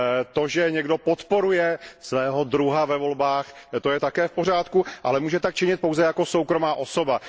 To, že někdo podporuje svého druha ve volbách, to je také v pořádku, ale může tak činit pouze jako soukromá osoba.